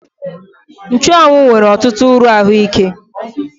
Nchụ́anwu nwere ọtụtụ uru ahụike